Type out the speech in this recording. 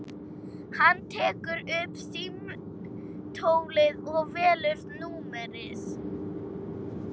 Hann tekur upp símtólið og velur númerið.